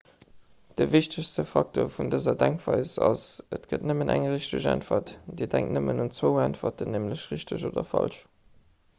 de wichtegste facteur vun dëser denkweis ass et gëtt nëmmen eng richteg äntwert dir denkt nëmmen un zwou äntwerten nämlech richteg oder falsch